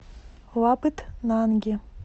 лабытнанги